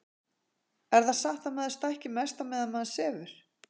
er það satt að maður stækki mest á meðan maður sefur